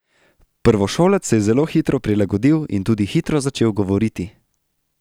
Prvošolec se je zelo hitro prilagodil in tudi hitro začel govoriti.